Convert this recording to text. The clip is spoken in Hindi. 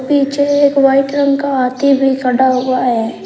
पीछे एक वाइट रंग का हाथी भी खड़ा हुआ है।